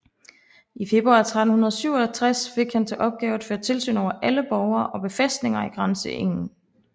I februar 1367 fik han til opgave at føre tilsyn over alle borge og befæstninger i grænseegnen